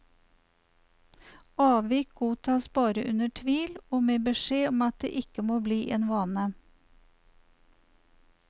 Avvik godtas bare under tvil, og med beskjed om at det ikke må bli en vane.